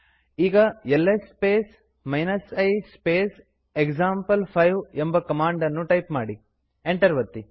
ಈಗ LS space i space example five ಎಂಬ command ಅನ್ನು ಟೈಪ್ ಮಾಡಿ ಎಂಟರ್ ಒತ್ತಿ